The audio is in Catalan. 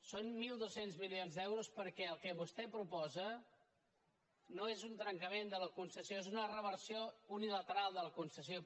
són mil dos cents milions d’euros perquè el que vostè proposa no és un trencament de la concessió és una reversió unilateral de la concessió